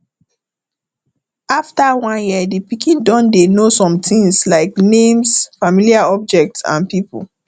after one year di pikin don dey know somethings like names familiar object and pipo